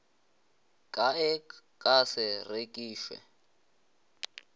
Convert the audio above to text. ka e ka se rekišwe